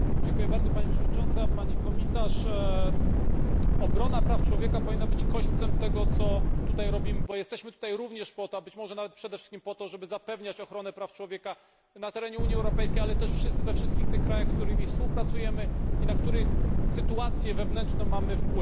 Pani Przewodnicząca! Obrona praw człowieka powinna być kośćcem tego, co tutaj robimy, bo jesteśmy tu również po to, a być może nawet przede wszystkim po to, żeby zapewniać ochronę praw człowieka na terenie Unii Europejskiej, ale także we wszystkich tych krajach, z którymi współpracujemy i na których sytuację wewnętrzną mamy wpływ.